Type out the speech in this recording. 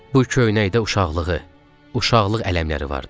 Bu köynəkdə uşaqlığı, uşaqlıq ələmləri vardı.